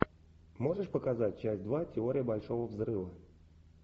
можешь показать часть два теория большого взрыва